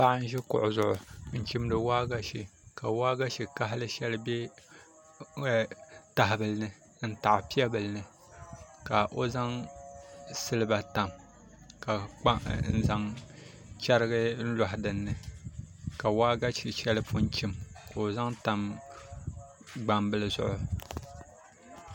Paɣa n ʒi kuɣu zuɣu n chimdi waagashe ka waagashe kahali shɛli bɛ tahabili ni n taɣa piɛ bili ni ka o zaŋ silba tam ka zaŋ chɛrigi loɣi dinni ka waagashe shɛli pun chim ka o zaŋ tam gbambili zuɣu